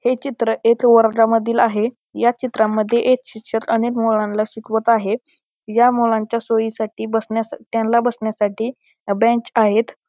हे चित्र एका वर्गा मधील आहे ह्या चित्रामध्ये एक शिक्षक अनेक मुलांना शिकवत आहे ह्या मुलांनच्या सोयीसाठी त्यांना बसण्यासाठी बेंच आहेत.